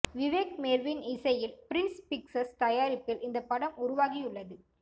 Vivek Mervin இசையில் Prince Pictures தயாரிப்பில் இந்த படம் உருவாகியுள்ளது